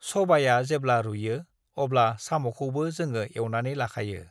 सबाया जेब्ला रुयो, अब्ला साम'खौबो जोङो एवनानै लाखायो।